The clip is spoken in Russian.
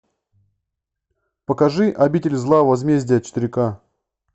покажи обитель зла возмездие четыре к